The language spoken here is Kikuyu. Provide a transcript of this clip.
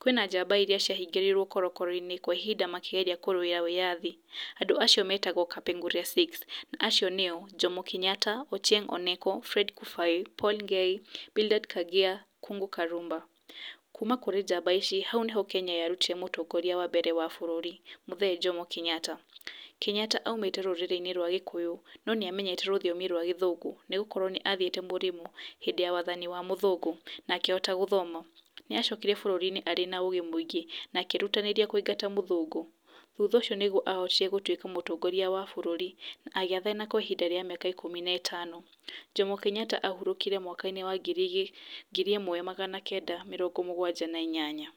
Kwĩna njamba iria ciahingĩiruo korokoro-inĩ, kwa ihinda makĩgeria kũrũwĩra wĩyathi. Andũ acio metagwo Kapenguria siũ. Aco nĩo, Jomo Kenyata, Ochieng Oneko, Fred Ngei, Bildada Kubai, Kung'ũ Karuba. Kuma kũrĩ njamba ici, hau nĩho Kenya yarutire mũtongoria wa mbere wa bũrũri. Kuma kũrĩ njamba ici, hau nĩho Kenya yarutire mũtongoria wa mbere wa bũrũri, Mzee Jomo Kenyata, Kenyata oimĩte rũtiomi-inĩ rwa gĩkũyũ, no nĩ amenyete rũthiomi rwa gĩthũngũ, nĩ gũkorwo nĩ athiĩte mũrĩmo, hĩndĩ ya wathani wa mũthũngũ, na akĩhota gũthoma. Nĩ acokire bũrũri-inĩ ena ũgĩ mũingĩ, na akĩrutanĩria kũingata mũthũngũ. Thutha ũcio nĩguo ahotire gũtuĩka mũtongoria wa bũrũri, agĩathana kwa ihinda rĩa mĩaka ikũmi na ĩtano. Jomo Kenyata ahurũkire mwaka-inĩ wa ngiri, ngiri ĩmwe magana kenda ma mĩrongo mũganja na inyanya.